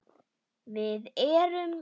Við erum eitt.